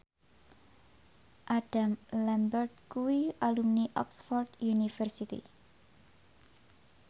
Adam Lambert kuwi alumni Oxford university